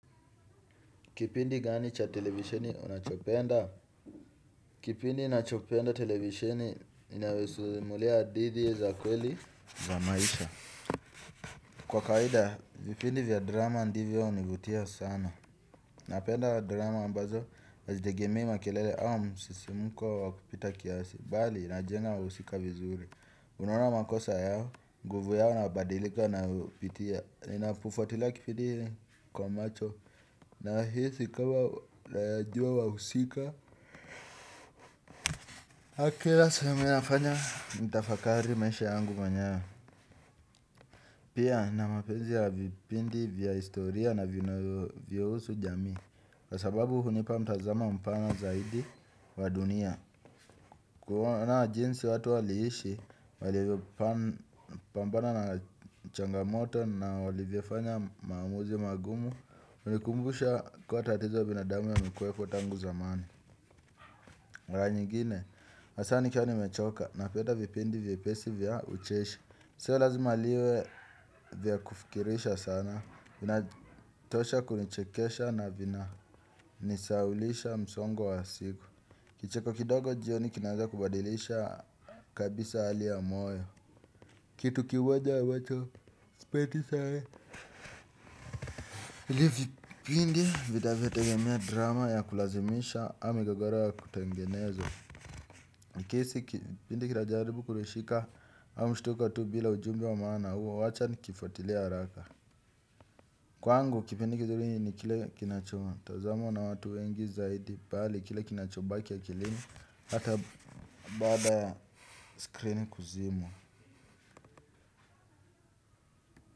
Kipindi gani cha televishenni unachopenda? Kipindi nachopenda televisioni, inawesuzimulia hadithi za kweli, za maisha. Kwa kawaida, vipindi vya drama ndivyo univutia sana. Napenda drama ambazo, azidegemii makelele au msisimuko wakupita kiasi. Bali, inajenga nahusija vizuri. Unaona makosa yao, nguvu yao, nabadilika na upitia. Nina pufuatila kipindi kwa macho. Na hisikama nayajua wa usika. Aki lasa yuminafanya nitafakari maisha yangu manyewe. Pia na mapenzi ya vipindi vya historia na vinavyo usu jami. Kwasababu hunipa mtazamo mpana zaidi wadunia. Kuoana jinsi watu waliishi walivyo pampana na changamoto na walivyofanya maamuzi magumu. Unikumbusha kuwa tatizo binadamu yamekuwekotangu zamani. Ranyi gine, masani kia ni mechoka na peta vipindi vipesi vya ucheshi. Sio lazima liwe vya kufikirisha sana. Vinatosha kunichekesha na vina nisaulisha msongo wa siku. Kicheko kidogo jioni kinaeza kubadilisha kabisa hali ya moyo. Kitu kimoja ambacho sipendi sawe. Ilivipindi vina vyo tegemea drama ya kulazimisha au migogoro ya kutangenezo. Nikisi kipindi kilajaribu kurishika hawa mshtuka tu bila ujumbi wa maana huo wacha nikifotilea raka. Kwa angu kipindi kizuri ni kile kinachoma tazamo na watu wengi zaidi pali kile kinachobaki ya kilini hata bada screen kuzimwa.